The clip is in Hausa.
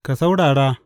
Ka saurara!